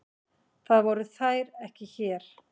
Það voru þær ekki hér.